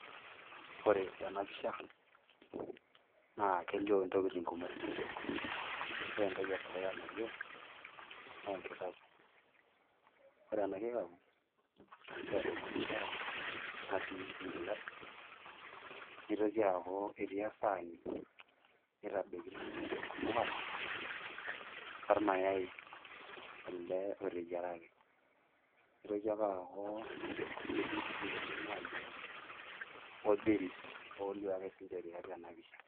Ore tenapisha, naa kelio intokiting kumok. Ore entoki edukuya nalio, nenkikapu. Ore ena kikapu, na kitadokino shai natii enkilasi, nitoki aku etii esani naitadokino emukate, ormayai ele oteyiaraki. Nitoki ake aku etii nkidikoni nalio orbiris olio ake sinche tiatua enapisha.